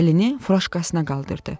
Əlini furajkasına qaldırdı.